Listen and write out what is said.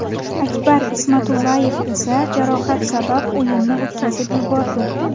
Akbar Ismatullayev esa jarohat sabab o‘yinni o‘tkazib yubordi.